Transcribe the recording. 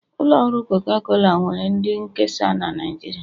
Ụlọ ọrụ coca cola nwere ndị nkesa na Nijiria